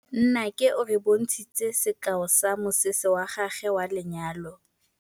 Nnake o re bontshitse sekaô sa mosese wa gagwe wa lenyalo.